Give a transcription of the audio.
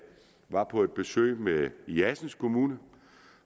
var på et besøg i assens kommune